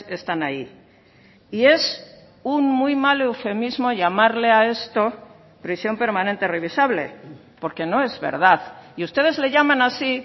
están ahí y es un muy mal eufemismo llamarle a esto prisión permanente revisable porque no es verdad y ustedes le llaman así